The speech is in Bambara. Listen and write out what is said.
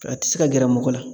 A ti se ka gɛrɛ mɔgɔ la.